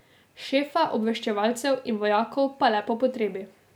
Šefa obveščevalcev in vojakov pa le po potrebi.